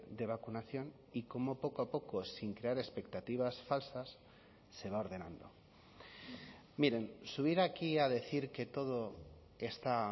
de vacunación y cómo poco a poco sin crear expectativas falsas se va ordenando miren subir aquí a decir que todo está